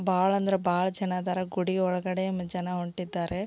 ಬಹಳ ಅಂದ್ರೆ ಬಹಳ ಜನ ಅದರ ಗುಡಿ ಒಳಗಡೆ ಮತ್ತೆ ಜನ ಹೊರಟಿದ್ದಾರೆ.